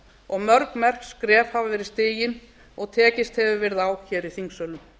og mörg merk skref hafa verið stigin og tekist hefur verið á í þingsölum